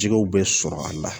Jɛgɛw bɛ sɔrɔ a la